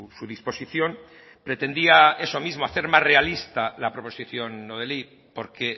su disposición pretendía eso mismo hacer más realista la proposición no de ley porque